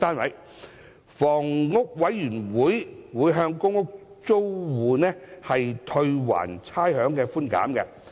香港房屋委員會將向公屋租戶退還差餉寬減。